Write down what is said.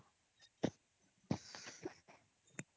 noise